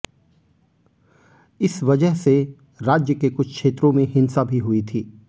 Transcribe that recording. इस वजह से राज्य के कुछ क्षेत्रों में हिंसा भी हुई थी